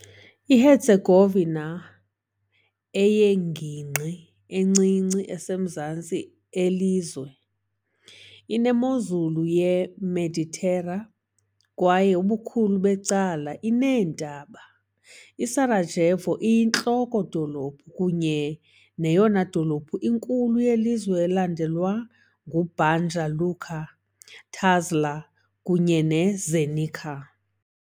IHerzegovina, eyingingqi encinci, esemazantsi elizwe, inemozulu yeMeditera kwaye ubukhulu becala ineentaba. I-Sarajevo iyinhloko-dolophu kunye neyona dolophu inkulu yelizwe elandelwa nguBanja Luka, Tuzla kunye neZenica .